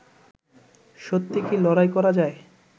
সত্যি কি লড়াই করা যায়